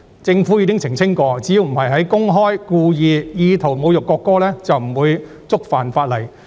政府亦曾澄清，只要不是公開、故意及有意圖侮辱國歌，便不會觸犯法例。